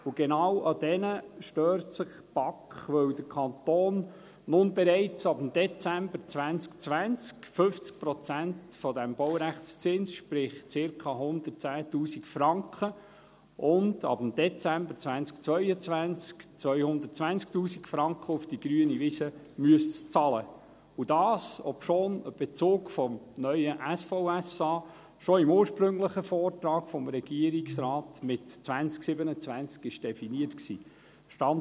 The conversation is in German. Und genau an diesen stört sich die BaK, weil der Kanton nun bereits ab Dezember 2020 50 Prozent des Baurechtszinses, sprich ca. 110’000 Franken, und ab Dezember 2022 220'000 Franken auf die grüne Wiese bezahlen müsste, und dies, obschon ein Bezug des neuen SVSA schon im ursprünglichen Vortrag des Regierungsrates mit 2027 definiert war.